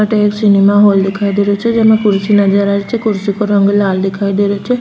अठे एक cinema hall दिखाई दे रहियो छे जेमे कुर्सी नजर आ रही छे कुर्सी काे रंग लाल दिखाई दे रहियो छे।